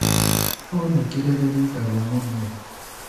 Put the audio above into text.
Onekire rĩ rita ria mũthia?